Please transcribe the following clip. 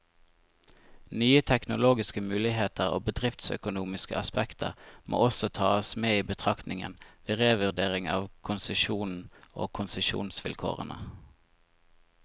Nye teknologiske muligheter og bedriftsøkonomiske aspekter må også tas med i betraktningen, ved revurdering av konsesjonen og konsesjonsvilkårene.